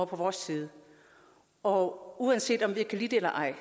på vores side og uanset om jeg kan lide det eller ej